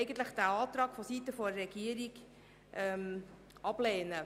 Seitens der Regierung lehnen wir diesen Antrag ab.